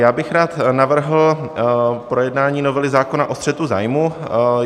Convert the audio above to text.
Já bych rád navrhl projednání novely zákona o střetu zájmů.